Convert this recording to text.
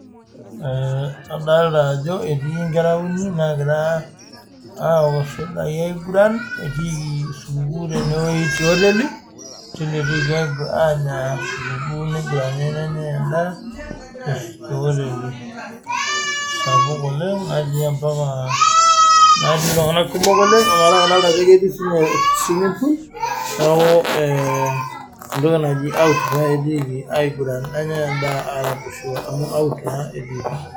Ee adolta ajo etii nkera uni naagira aaok suda aiguran etiiki supukuu tenewueji teoteli eetuo aanya supukuu nenyai endaa teoteli sapuk oleng' natii ompaka naatii iltung'anak kumok oleng' ometaa kadolta ajo ketii siinye swimming pool neeku ee entoki naji out pae etii aiguran nenyaai endaa aaraposho amu out naa etiiki.